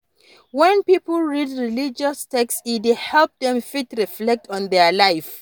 When pipo read religious text e dey help dem fit reflect on their life